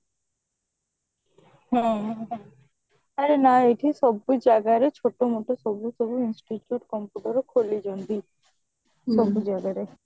ହଁ ହଁ ଆରେ ନା ଏଇଠି ସବୁ ଜାଗାରେ ଛୋଟ ମୋଟ ସବୁ ସବୁ institute computer ଖୋଲିଛନ୍ତି ସବୁ ଜାଗାରେ